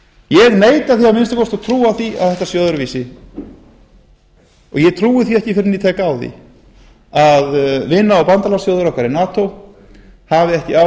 ég neita að minnsta kosti að trúa því að þetta sé öðruvísi ég trúi því ekki fyrr en ég tek á því að vina og bandalagsþjóðir okkar í nato hafi ekki áhuga